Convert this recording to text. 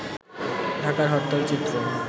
ঢাকার হরতাল চিত্র